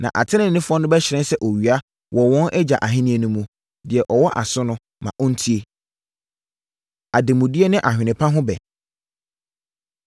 Na ateneneefoɔ no bɛhyerɛn sɛ owia wɔ wɔn Agya Ahennie no mu. Deɛ ɔwɔ aso no, ma ɔntie!” Ademudeɛ Ne Ahwene Pa Ho Ɛbɛ